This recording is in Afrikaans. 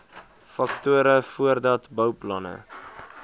faktore voordat bouplanne